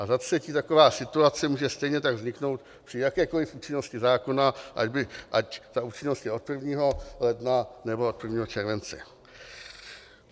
A za třetí, taková situace může stejně tak vzniknout při jakékoliv účinnosti zákona, ať ta účinnost je od 1. ledna, nebo od 1. července.